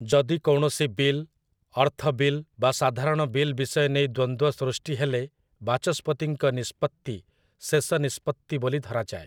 ଯଦି କୌଣସି ବିଲ୍, ଅର୍ଥବିଲ୍ ବା ସଧାରଣ ବିଲ୍ ବିଷୟ ନେଇ ଦ୍ୱନ୍ଦ୍ୱ ସୃଷ୍ଟି ହେଲେ ବାଚସ୍ପତିଙ୍କ ନିଷ୍ପତ୍ତି ଶେଷ ନିଷ୍ପତ୍ତି ବୋଲି ଧରାଯାଏ ।